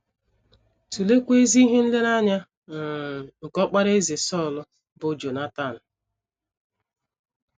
Tụleekwa ezi ihe nlereanya um nke ọkpara Eze Sọl bụ́ Jonatan.